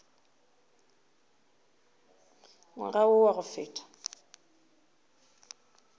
ngwaga wo wa go feta